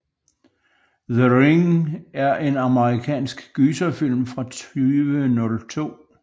The Ring er en amerikansk gyserfilm fra 2002